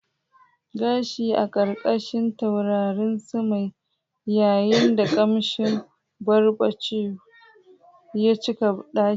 Gashi a ƙarƙashin taurarin sama yayin da ƙamshin barbecue ya cika ɗakin.